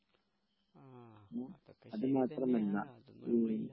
ആ അതൊക്കെ ശരി തന്നെയാണ് അതൊന്നും ഇപ്പോ ഇല്ല